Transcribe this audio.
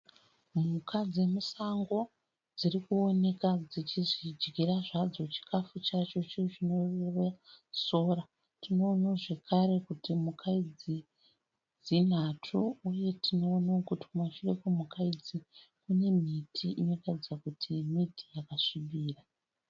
Mhuka dzemusango dziri kuoneka dzichizvidyira zvadzo chikafu chadzo icho chinova sora. Tinoonawo zvakare kuti mhuka idzi dzinhatu uye tinoonawo kuti kumashure kwemhuka idzi kune miti inotaridza kuti miti yakasvibira.